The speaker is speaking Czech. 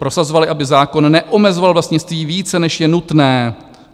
Prosazovali, aby zákon neomezoval vlastnictví více, než je nutné.